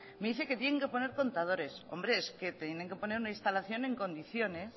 me dice que tienen que poner contadores hombre es que tienen que poner una instalación en condiciones